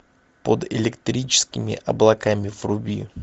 под электрическими облаками вруби